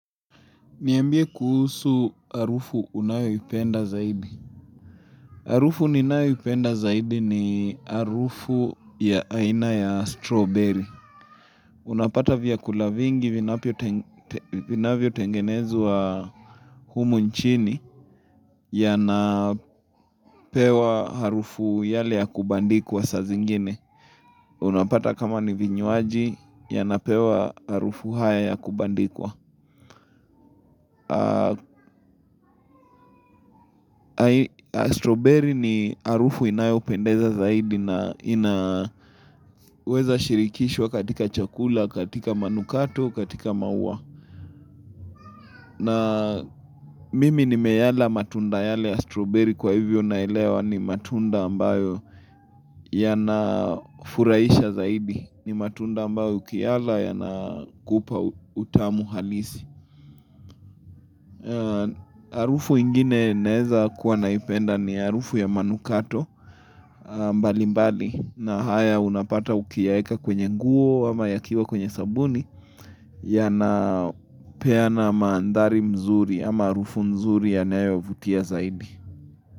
Niambie kuhusu harufu unayoipenda zaidi. Harufu ninayoipenda zaidi ni harufu ya aina ya strawberry. Unapata vyakula vingi vinavyotengenwa wa humu nchini yanapewa harufu yale ya kubandikwa saa zingine. Unapata kama ni vinywaji yanapewa harufu haya ya kubandikwa. Stroberry ni arufu inayopendeza zaidi na inaweza shirikishwa katika chakula, katika manukato, katika maua na mimi nimeyala matunda yale stroberry kwa hivyo naelewa ni matunda ambayo yanafurahisha zaidi ni matunda ambayo ukiyala yanakupa utamu halisi Harufu ingine naeza kuwa naipenda ni harufu ya manukato mbali mbali na haya unapata ukiyaeka kwenye nguo ama yakiwa kwenye sabuni Yanapeana maandhari mzuri ama harufu mzuri yanayovutia zaidi.